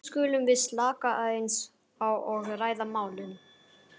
nú skulum við slaka aðeins á og ræða málin.